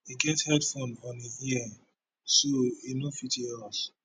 e get headphones on im ears so e no fit hear us